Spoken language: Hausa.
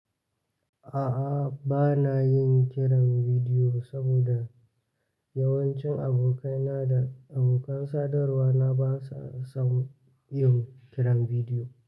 A'a bana yin kiran bidiyo saboda yawancin abokaina da abokan sadarwa na ba sa son yin kiran bidiyo.